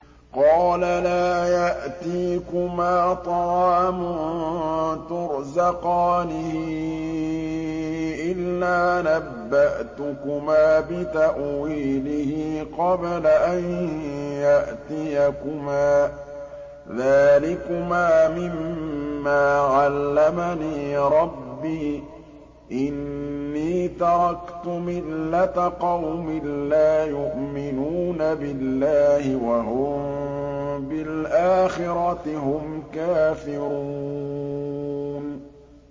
قَالَ لَا يَأْتِيكُمَا طَعَامٌ تُرْزَقَانِهِ إِلَّا نَبَّأْتُكُمَا بِتَأْوِيلِهِ قَبْلَ أَن يَأْتِيَكُمَا ۚ ذَٰلِكُمَا مِمَّا عَلَّمَنِي رَبِّي ۚ إِنِّي تَرَكْتُ مِلَّةَ قَوْمٍ لَّا يُؤْمِنُونَ بِاللَّهِ وَهُم بِالْآخِرَةِ هُمْ كَافِرُونَ